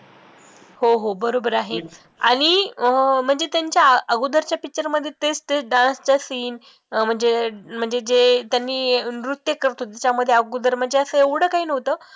हो हो बरोबर आहे आणि अं म्हणजे त्यांच्या अगोदरच्या picture मध्ये तेच तेच dance चा scene म्हणजे म्हणजे जे त्यांनी नृत्य करतो अगोदर म्हणजे असं एवढं काही नव्हतं.